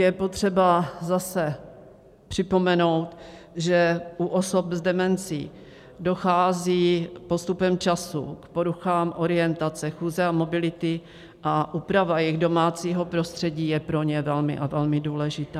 Je potřeba zase připomenout, že u osob s demencí dochází postupem času k poruchám orientace, chůze a mobility a úprava jejich domácího prostředí je pro ně velmi a velmi důležitá.